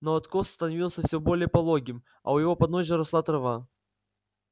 но откос становился все более пологим а у его подножия росла трава